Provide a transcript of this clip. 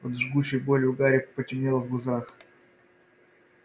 от жгучей боли у гарри потемнело в глазах